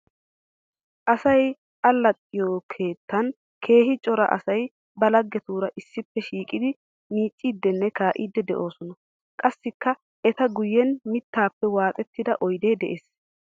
Asay alaxxiyo keettan keehi cora asay ba laggetura issippe shiiqiddi miicciddinne kaa'iddi de'osonna. Qassikka etta guyen mittappe waaxxettida oydde de'ees.